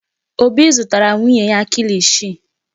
Obi zụtara nwunye ya kilishi.